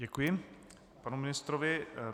Děkuji panu ministrovi.